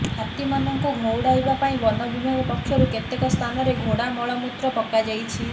ହାତୀମାନଙ୍କୁ ଘଉଡ଼ାଇବା ପାଇଁ ବନ ବିଭାଗ ପକ୍ଷରୁ କେତେକ ସ୍ଥାନରେ ଘୋଡ଼ା ମଳମୂତ୍ର ପକାଯାଇଛି